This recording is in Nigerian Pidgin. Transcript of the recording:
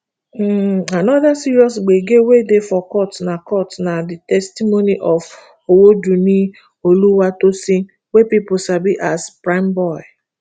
um anoda serious gbege wey dey for court na court na di testimony of owodunni oluwatosin wey pipo sabi as primeboy